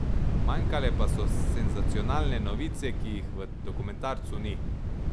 Manjkale pa so senzacionalne novice, ki jih v dokumentarcu ni.